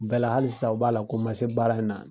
Bɛɛ la hali sisan u b'a la ko ma se baara in na.